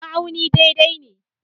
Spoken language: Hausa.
Ma'auni daidai ne.